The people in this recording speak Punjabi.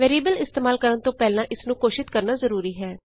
ਵੈਰੀਐਬਲ ਇਸਤੇਮਾਲ ਕਰਨ ਤੋਂ ਪਹਿਲਾਂ ਇਸਨੂੰ ਘੋਸ਼ਿਤ ਕਰਨਾ ਜ਼ਰੂਰੀ ਹੈ